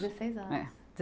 Dezesseis anos. É.